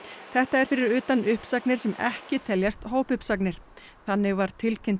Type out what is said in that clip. þetta er fyrir utan uppsagnir sem ekki teljast hópuppsagnir þannig var tilkynnt